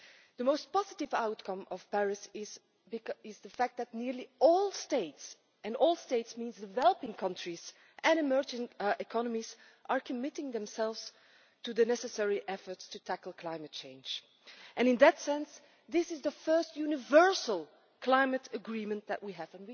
The most positive outcome of Paris is the fact that nearly all states and all states means also developing countries and emerging economies are committing themselves to the necessary efforts to tackle climate change. In that sense, this is the first universal climate agreement that we have.